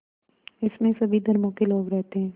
इसमें सभी धर्मों के लोग रहते हैं